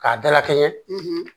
K'a dalakɛɲɛ